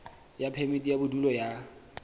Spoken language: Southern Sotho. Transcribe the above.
ya phemiti ya bodulo ya